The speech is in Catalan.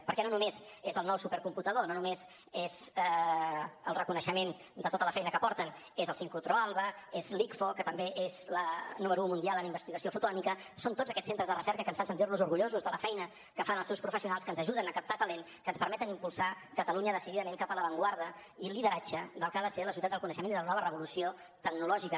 perquè no només és el nou supercomputador no només és el reconeixement de tota la feina que porten és el sincrotró alba és l’icfo que també és número u mundial en investigació fotònica són tots aquests centres de recerca que ens fan sentir nos orgullosos de la feina que fan els seus professionals que ens ajuden a captar talent que ens permeten impulsar catalunya decididament cap a l’avantguarda i el lideratge del que ha de ser la societat del coneixement i de la nova revolució tecnològica